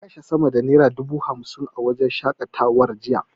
Mun kashe sama da naira dubu hamsin a wajen shaƙatawar jiya.